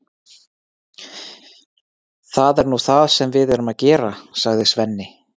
Það er nú það sem við erum að gera, sagði Svenni.